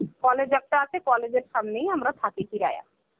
college একটা আছে. college এর সামনেই আমরা থাকি Hindi.